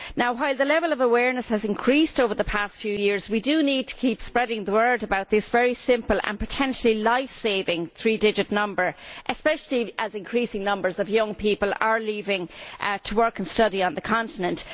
While the level of awareness has increased over the past few years we do need to keep spreading the word about this very simple and potentially life saving three digit number, especially as increasing numbers of young people are leaving to work and study on the continent.